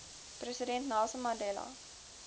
president nelson mandela